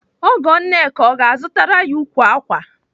Ọgọ Nneka ọ ga-azụtara ya ukwu ákwà?